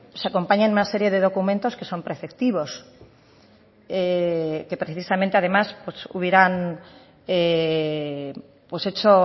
se acompañan una serie de documentos que son preceptivos que precisamente además hubieran hecho